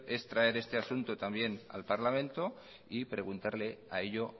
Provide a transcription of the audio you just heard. es traer este asunto también al parlamento y preguntarle a ello